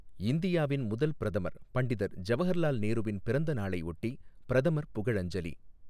இந்தியாவின் முதல் பிரதமர் பண்டிதர் ஜவஹர்லால் நேருவின் பிறந்த நாளையொட்டி பிரதமர் புகழஞ்சலி